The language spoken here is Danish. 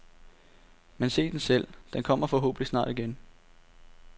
Men se den selv, den kommer forhåbentlig snart igen.